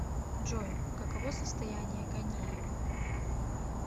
джой каково состояние ганеева